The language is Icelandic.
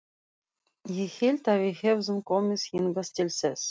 Ég hélt að við hefðum komið hingað til þess.